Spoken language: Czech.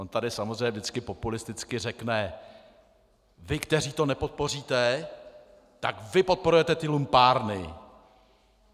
On tady samozřejmě vždycky populisticky řekne: Vy, kteří to nepodpoříte, tak vy podporujete ty lumpárny!